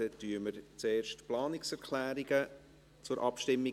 Dann bringen wir zuerst die Planungserklärungen zur Abstimmung.